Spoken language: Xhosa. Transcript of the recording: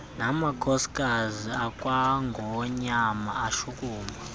namakhosikazi akwangonyama ashukuma